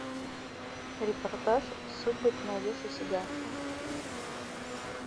репортаж судьбы ты найдешь у себя